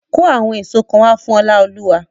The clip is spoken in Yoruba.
Kó àwọn èso kan wá fún Oláolúwa!